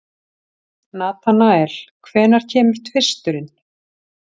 Natanael, hvenær kemur tvisturinn?